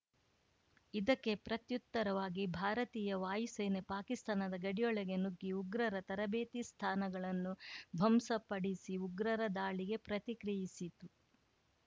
ಇದಕ್ಕೆ ಪ್ರತ್ಯುತ್ತರವಾಗಿ ಭಾರತೀಯ ವಾಯುಸೇನೆ ಪಾಕಿಸ್ತಾನದ ಗಡಿಯೊಳಗೆ ನುಗ್ಗಿ ಉಗ್ರರ ತರಬೇತಿ ಸ್ಥಾನಗಳನ್ನು ದ್ವಂಸಪಡಿಸಿ ಉಗ್ರರ ದಾಳಿಗೆ ಪ್ರತಿಕ್ರಿಯಿಸಿತು